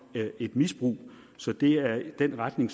et misbrug så det er den retning